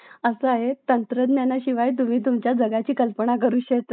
असा आहे तंत्रज्ञानाशिवाय तुम्ही तुमच्या जगाची कल्पनाच करू शकत नाही